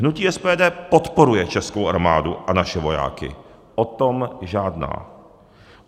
Hnutí SPD podporuje českou armádu a naše vojáky, o tom žádná.